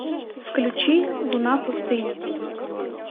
включи луна пустыни